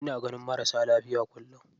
Ina ganin marasa lafiya kullum.